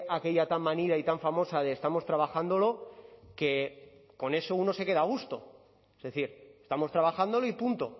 aquella tan manida y tan famosa de estamos trabajándolo que con eso uno se queda a gusto es decir estamos trabajándolo y punto